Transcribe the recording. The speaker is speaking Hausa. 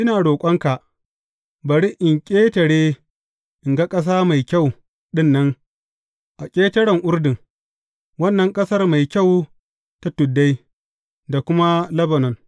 Ina roƙonka, bari in ƙetare in ga ƙasa mai kyau ɗin nan a ƙetaren Urdun, wannan ƙasar mai kyau ta tuddai, da kuma Lebanon.